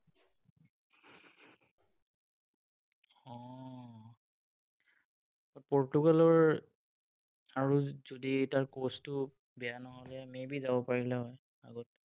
পৰ্তুগালৰ আৰু যদি তাৰ coach টো বেয়া নহলে হয়, maybe যাব পাৰিলে হয় আগত।